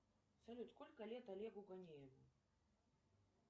салют сколько лет олегу гонееву